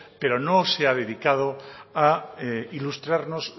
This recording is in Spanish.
pero no se ha dedicado a ilustrarnos